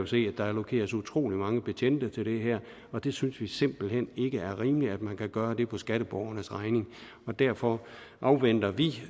se at der allokeres utrolig mange betjente til det her og det synes vi simpelt hen ikke er rimeligt man kan gøre på skatteborgernes regning derfor afventer vi